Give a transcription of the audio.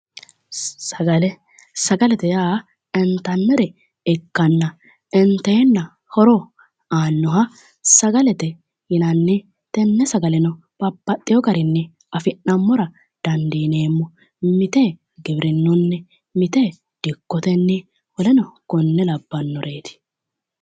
sagalete yaa intannire ikanna inteenanno horo aannoha sagalete yinanni tenne sagaleno babaxino garinni afi'nammora dandiineemmo mite giwirinunni mite dikotenni woleno konne labannoreetti